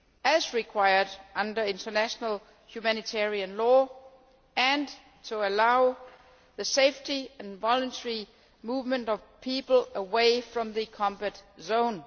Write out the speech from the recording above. as required under international humanitarian law, and to allow the safe and voluntary movement of people away from the combat zone.